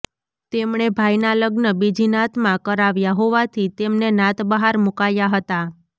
તેમણે ભાઇના લગ્ન બીજી નાતમાં કરાવ્યા હોવાથી તેમને નાતબહાર મુકાયા હતા